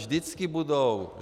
Vždycky budou.